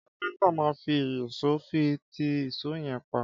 Kápintá má fi ìyísòó fi ti ìsó yen pá